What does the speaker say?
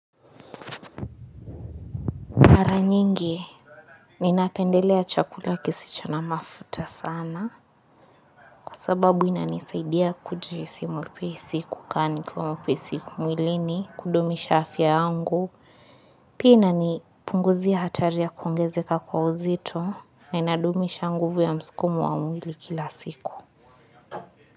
Mara nyingi, ninapendelea chakula kisicho na mafuta sana kwa sababu inanisaidia kujihisi mpisi kukaa ni kwa mpisi mwilini kudumisha afya yangu. Pia inanipunguzia hatari ya kuongezeka kwa uzito, ninadumisha nguvu ya msukumo wa mwili kila siku.